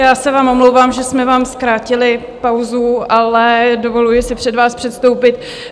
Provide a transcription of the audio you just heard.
Já se vám omlouvám, že jsme vám zkrátili pauzu, ale dovoluji si před vás předstoupit.